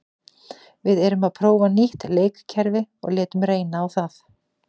Við erum að prófa nýtt leikkerfi og létum reyna á það.